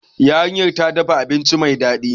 Yarinyar ta dafa abinci mai dadi